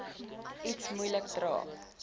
iets moeilik dra